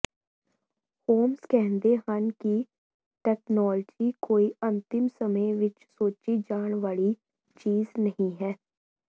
homes ਕਹਿੰਦੇ ਹਨ ਕਿ ਤਕਨਾਲੋਜੀ ਕੋਈ ਅੰਤਿਮ ਸਮੇਂ ਵਿੱਚ ਸੋਚੀ ਜਾਣ ਵਾਲੀ ਚੀਜ਼ ਨਹੀਂ ਹੈ